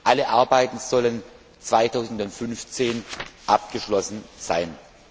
Alle Arbeiten sollen 2015 abgeschlossen sein.